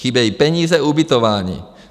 Chybějí peníze, ubytování.